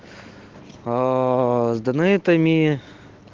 эээ с донэйтами